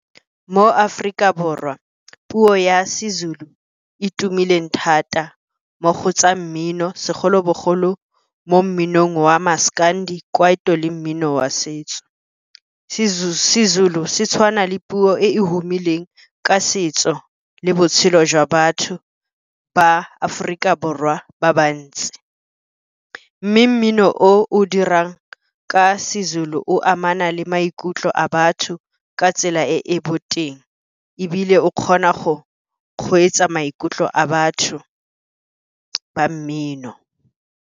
Mo Aforika Borwa puo ya seZulu e tumileng thata mo go tsa mmino segolobogolo, mo mminong wa maskandi, kwaito le mmino wa setso. Sezulu se tshwana le puo e humileng ka setso le botshelo jwa batho ba Aforika Borwa ba bantsi. Mme mmino o o dirang ka seZulu o amana le maikutlo a batho ka tsela e e boteng, ebile o kgona go kgweetsa maikutlo a batho ba mmino.